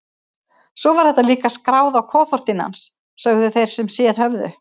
Svo var það líka skráð á kofortin hans, sögðu þeir sem séð höfðu.